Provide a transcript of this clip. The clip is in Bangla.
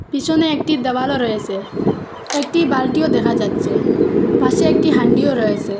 পিছনে একটি দেওয়ালও রয়েসে একটি বালতিও দেখা যাচ্ছে পাশে একটি হান্ডিও রয়েসে।